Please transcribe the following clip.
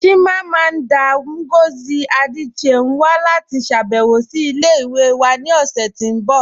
Chimamanda Ngozi Adichie n wà láti ṣàbẹ̀wọ̀ sí ilẹ̀-ìwẹ̀ wà ni ọṣẹ̀ tí n bọ